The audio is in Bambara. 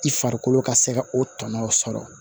I farikolo ka se ka o tɔnɔ sɔrɔ